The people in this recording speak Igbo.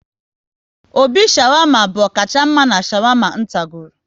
Obi shawarma bụ ọkacha mma n' shawama n tagoro